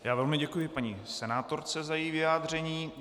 Já velmi děkuji paní senátorce za její vyjádření.